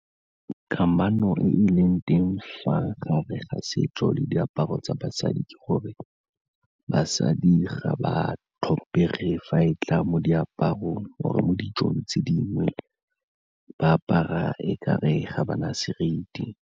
Kamano e e leng teng fa gare ga setso le diaparo tsa basadi ke gore basadi ga ba tlhomphege fa e tla mo diaparong gore mo dijong tse dingwe ba apara e kare ga ba na seriti.